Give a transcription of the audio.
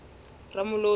ramolodi